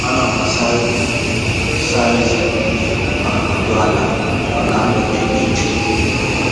Ana m asa ihu m, saa ezé m, ma nọdụ ala maka mgbede dị jụụ.